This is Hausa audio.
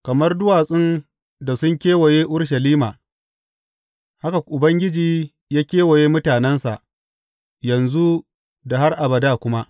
Kamar duwatsun da sun kewaye Urushalima, haka Ubangiji ya kewaye mutanensa yanzu da har abada kuma.